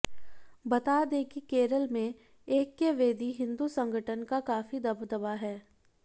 बता दें कि केरल में ऐक्य वेदी हिंदू संगठन का काफी दबदबा है